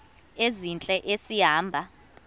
ezintle esi hamba